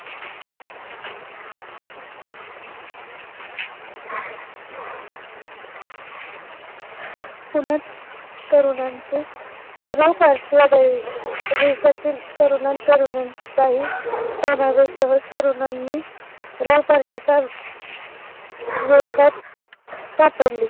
पुण्यात तरुणांचे revparty आढळली. देशातील तरुणा तरूणांचाही तरुणांनी revparty च्या वेथात सापडली